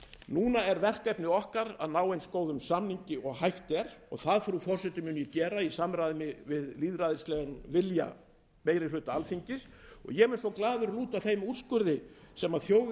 núna er verkefni okkar að ná eins góðum samningi og hægt er og það frú forseti mun ég gera í samræmi við lýðræðislegan vilja meiri hluta alþingis og ég mun þá glaður lúta þeim úrskurði sem þjóðin að